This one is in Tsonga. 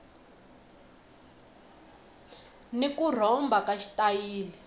ni ku rhomba ka xitayili